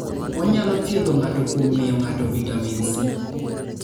Onyalo thiedho ng'ato kuom miyo ng'ato vitamin C.